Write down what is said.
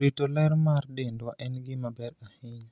rito ler mar dendwa en gima ber ahinya